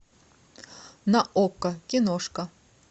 на окко киношка